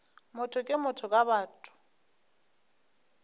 motho ke motho ka batho